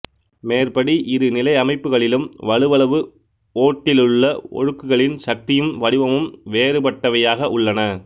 மேற்படி இரு நிலையமைப்புகளிலும் வலுவளவு ஓட்டிலுள்ள ஒழுக்குகளின் சக்தியும் வடிவமும் வேறுபட்டவையாக உள்ளன